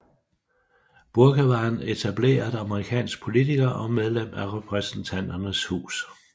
Bourke var en etableret amerikansk politiker og medlem af Repræsentanternes Hus